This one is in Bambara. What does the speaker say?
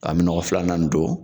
An bi nɔgɔ filanan in don